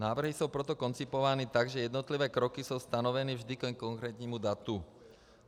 Návrhy jsou proto koncipovány tak, že jednotlivé kroky jsou stanoveny vždy ke konkrétnímu datu.